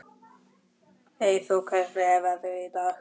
Eyþór, hvernig er veðrið í dag?